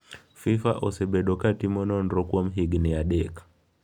FIFA osebedo ka timo nonro kuom higni adek.